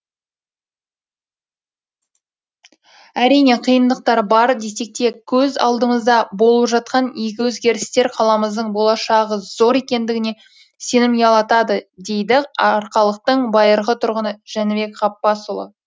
әрине қиындықтар бар десек те көз алдымызда болып жатқан игі өзгерістер қаламыздың болашағы зор екендігіне сенім ұялатады дейді арқалықтың байырғы тұрғыны жәнібек ғапбасұлы